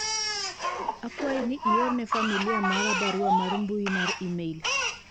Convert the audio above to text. akwayi ni iorne familia mara barua mar mbui mar email